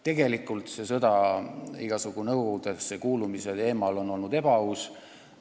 Tegelikult on kogu sõda igasugustesse nõukogudesse kuulumise teemal olnud ebaaus.